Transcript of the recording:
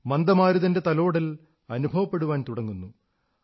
മന്ദമാരുതന്റെ തലോടൽ അനുഭവപ്പെടാൻ തുടങ്ങുന്നു